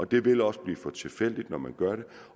det vil også blive for tilfældigt når man gør det